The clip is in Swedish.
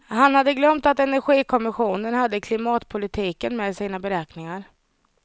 Han hade glömt att energikommissionen hade klimatpolitiken med i sina beräkningar.